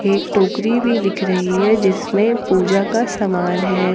एक टोकरी भी दिख रही है जिसमें पूजा का समान है।